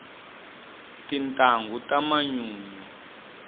tintangu ta manyunyu